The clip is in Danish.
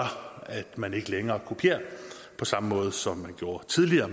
at man ikke længere kopierer på samme måde som man gjorde tidligere